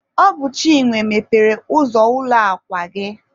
Ọ bụ Chinwe mepere ụzọ ụlọ akwa gị.